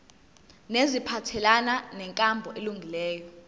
neziphathelene nenkambo elungileyo